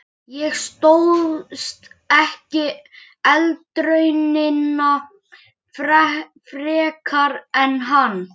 Ég stóðst ekki eldraunina frekar en hann!